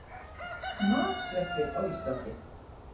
Matsveppir á Íslandi.